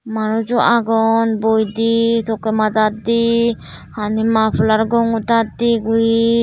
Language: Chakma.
manusjo agon boidey tokkey madad de hani mapalar gongodat de guri.